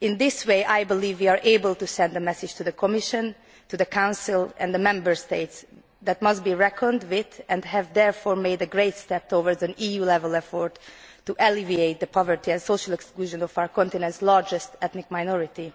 In this way, I believe we are able to send a message to the Commission, the Council and the Member States that must be reckoned with and we have therefore made a great step towards an EU level effort to alleviate the poverty and social exclusion of our continent's largest ethnic minority.